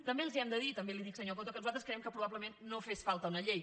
també els hem de dir també li dic senyor coto que nosaltres creiem que probablement no fa falta una llei